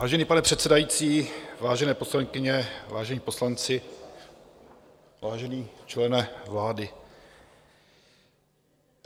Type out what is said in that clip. Vážený pane předsedající, vážené poslankyně, vážení poslanci, vážený člene vlády.